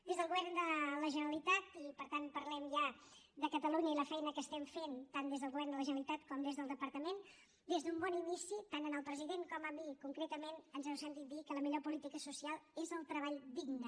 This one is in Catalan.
des del govern de la generalitat i per tant parlem ja de catalunya i la feina que estem fent tant des del govern de la generalitat com des del departament des d’un bon inici tant al president com a mi concretament ens heu sentit dir que la millor política social és el treball digne